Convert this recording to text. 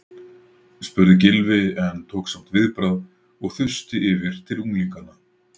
spurði Gylfi en tók samt viðbragð og þusti yfir til unglinganna.